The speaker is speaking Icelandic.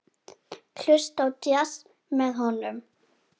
Hlusta á djass með honum.